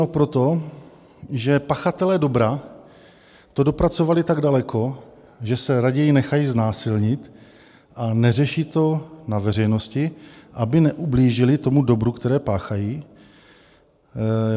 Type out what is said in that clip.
No proto, že pachatelé dobra to dopracovali tak daleko, že se raději nechají znásilnit a neřeší to na veřejnosti, aby neublížili tomu dobru, které páchají.